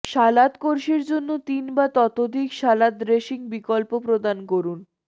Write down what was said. সালাদ কোর্সের জন্য তিন বা ততোধিক সালাদ ড্রেসিং বিকল্প প্রদান করুন